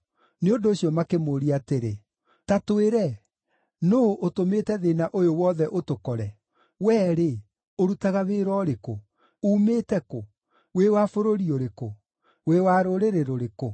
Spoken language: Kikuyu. Nĩ ũndũ ũcio, makĩmũũria atĩrĩ, “Ta twĩre, nũũ ũtũmĩte thĩĩna ũyũ wothe ũtũkore? Wee-rĩ, ũrutaga wĩra ũrĩkũ? Uumĩte kũ? Wĩ wa bũrũri ũrĩkũ? Wĩ wa rũrĩrĩ rũrĩkũ?”